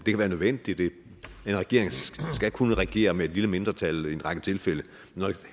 kan være nødvendigt en regering skal kunne regere med et lille mindretal i en række tilfælde